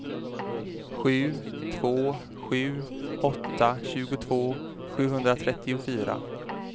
sju två sju åtta tjugotvå sjuhundratrettiofyra